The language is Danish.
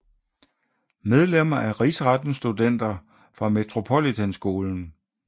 Medlemmer af Rigsretten Studenter fra Metropolitanskolen